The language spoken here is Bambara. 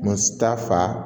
Mu ta fa